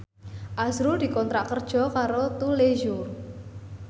azrul dikontrak kerja karo Tous Les Jour